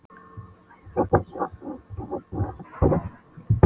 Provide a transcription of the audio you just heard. Æðruleysi þessara almúgamanna bar hann ofurliði.